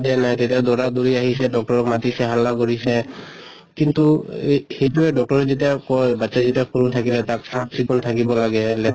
দিয়া নাই তেতিয়া দৌৰা দৌৰি আহিছে doctor ক মাতিছে হাল্লা কৰিছে। কিন্তু এহ সেইটোয়ে doctor য়ে যেতিয়া কয় বাচ্ছা যেতিয়া সৰু থাকিলে তাক চাফ চিকুণ থাকিব লাগে